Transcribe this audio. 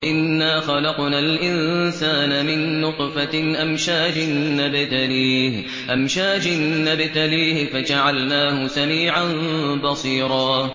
إِنَّا خَلَقْنَا الْإِنسَانَ مِن نُّطْفَةٍ أَمْشَاجٍ نَّبْتَلِيهِ فَجَعَلْنَاهُ سَمِيعًا بَصِيرًا